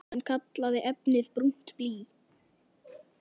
Hann kallaði efnið brúnt blý.